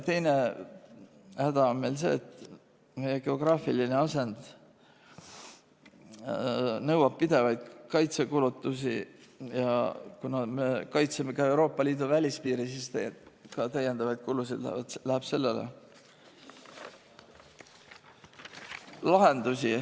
Teine häda on meil see, et meie geograafiline asend nõuab pidevaid kaitsekulutusi ja kuna me kaitseme ka Euroopa Liidu välispiiri, siis täiendavaid kulusid läheb ka sellele.